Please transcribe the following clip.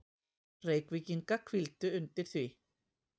Reykvíkinga hvíldu undir því.